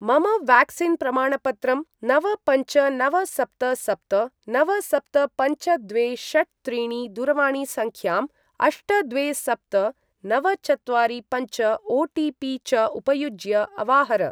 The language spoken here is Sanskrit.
मम व्याक्सीन् प्रमाणपत्रं नव पञ्च नव सप्त सप्त नव सप्त पञ्च द्वे षट् त्रीणि दूरवाणीसङ्ख्यां, अष्ट द्वे सप्त नव चत्वारि पञ्च ओटिपि च उपयुज्य अवाहर।